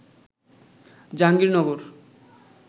Jahangirnagar